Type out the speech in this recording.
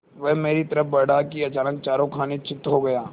वह मेरी तरफ़ बढ़ा कि अचानक चारों खाने चित्त हो गया